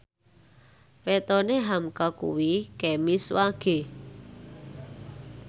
wetone hamka kuwi Kemis Wage